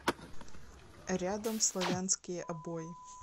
рядом славянские обои